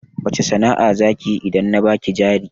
Wace sana'a zakiyi idan na baki jari